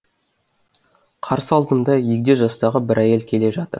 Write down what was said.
қарсы алдымда егде жастағы бір әйел келе жатыр